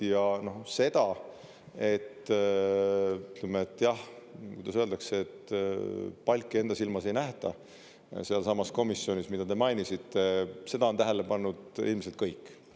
Ja seda, et, ütleme, et, jah, kuidas öeldakse, et palki enda silmas ei nähta sealsamas komisjonis, mida te mainisite, seda on tähele pannud ilmselt kõik.